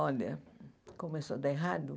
Olha, começou a dar errado?